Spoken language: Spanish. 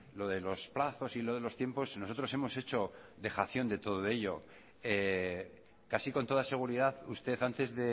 lo de los plazos y lo de los tiempos nosotros hemos hecho dejación de todo ello casi con toda seguridad usted antes